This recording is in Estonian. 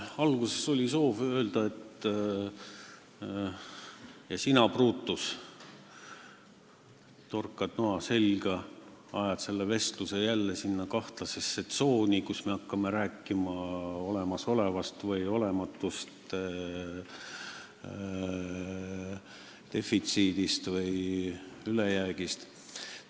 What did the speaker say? Alguses oli soov öelda, et ka sina, Brutus, torkad noa selga, ajad selle vestluse jälle sinna kahtlasesse tsooni, kus me hakkame rääkima olemasolevast või olematust defitsiidist või ülejäägist.